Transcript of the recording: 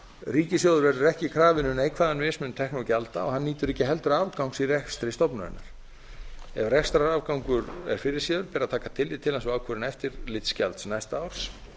ríkissjóður verður ekki krafinn um neikvæðan mismun tekna og gjalda og hann nýtur ekki heldur afgangs í rekstri stofnunarinnar ef rekstrarafgangur er fyrirséður ber að taka tillit til hans og ákvörðun eftirlitsgjalds næsta árs